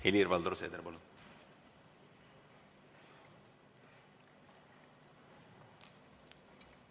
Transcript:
Helir-Valdor Seeder, palun!